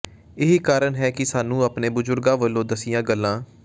ਇਹੀ ਕਾਰਨ ਹੈ ਕਿ ਸਾਨੂੰ ਅਪਣੇ ਬਜ਼ੁਰਗਾਂ ਵਲੋਂ ਦੱਸੀਆਂ ਗੱਲਾਂ